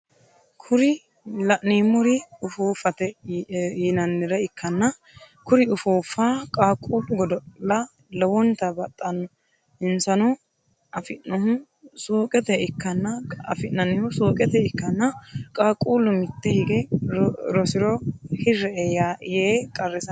Kuri la'neemori ufuuffate yinannire ikkanna kuri ufuuffa qaqqullu godo'la lowonta baxanno insano afi'nannihu suuqete ikkanna qaqqullu mitte hige rosiro hiri"e yee qarrisanno.